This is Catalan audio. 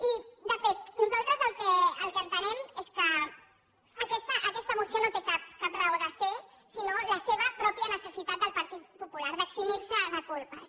i de fet nosaltres el que entenem és que aquesta moció no té cap raó de ser sinó la seva mateixa necessitat del partit popular d’eximir se de culpes